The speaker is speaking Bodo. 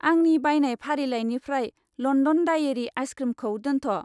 आंनि बायनाय फारिलाइनिफ्राय लन्डन डायेरि आइसक्रिमखौ दोनथ'।